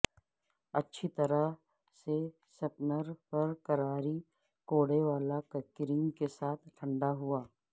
اچھی طرح سے سپنر پر کراکری کوڑے والا کریم کے ساتھ ٹھنڈا ہوا